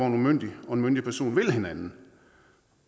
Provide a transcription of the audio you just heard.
en umyndig og en myndig person vil hinanden